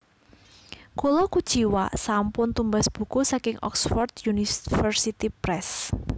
Kula kuciwa sampun tumbas buku saking Oxford University Press